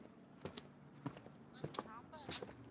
ma'am sambar